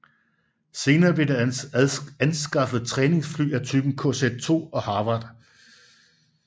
Senere blev der anskaffet træningsfly af typen KZ II og Harvard